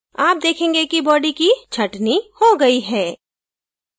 आप देखेंगे कि body की छंटनी हो गई है